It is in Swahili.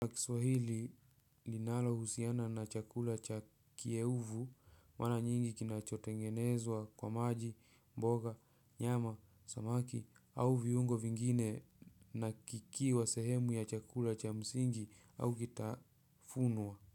Lakiswahili linalo husiana na chakula cha kie uvu mara nyingi kinachotengenezwa kwa maji, mboga, nyama, samaki au viungo vingine na kikiwa sehemu ya chakula cha msingi au kitafunwa.